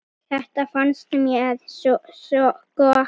Þetta fannst mér sko gaman.